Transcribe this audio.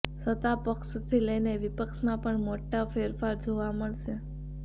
સત્તા પક્ષથી લઈને વિપક્ષમાં પણ મોટા ફેરફાર જોવા મળશે